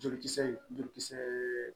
Jolikisɛ joli kisɛɛ